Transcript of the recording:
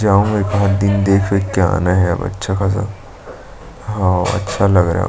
जाऊंगा एकाद दिन देख -वेख के आना है अब अच्छा खासा और अच्छा लग रहा हैं।